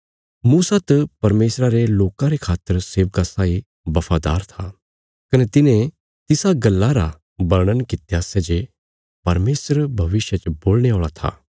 मूसा त परमेशरा रे लोकां रे खातर सेवका साई बफादार था कने तिने तिसा गल्ला रा वर्णन कित्या सै जे परमेशर भविष्य च बोलणे औल़ा था